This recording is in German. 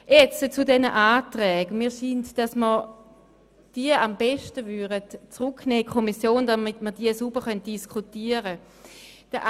Nun zu den einzelnen Anträgen: Es wäre das Beste, sie in die Kommission zurückzunehmen, damit sie sauber diskutiert werden können.